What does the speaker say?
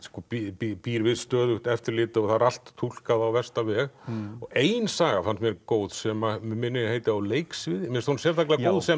býr býr býr við stöðugt eftirlit og það er allt túlkað á versta veg ein saga fannst mér góð sem mig minnir að heiti á leiksviði mér finnst hún sérstaklega góð sem